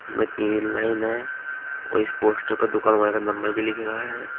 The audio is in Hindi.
उसमें तीन लाइन हैं और इस पोस्टर पे दुकान वाले का नंबर भी लिख रहा है।